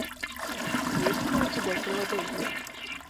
есть ли у тебя филадельфия